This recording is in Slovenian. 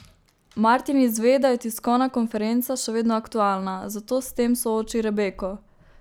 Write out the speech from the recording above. Martin izve, da je tiskovna konferenca še vedno aktualna, zato s tem sooči Rebeko.